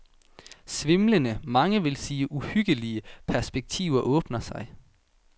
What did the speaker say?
Svimlende, mange vil sige uhyggelige, perspektiver åbner sig.